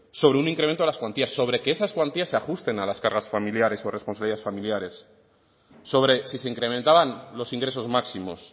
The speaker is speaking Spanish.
sobre un incremento de las cuantías sobre que esas cuantías se ajusten a las cargas familiares o responsabilidades familiares sobre si se incrementaban los ingresos máximos